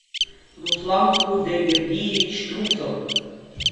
руслан худайбердиевич трусов